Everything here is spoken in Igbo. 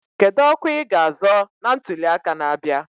Kedu ọkwa i ga azọ na ntuli aka na-abịa?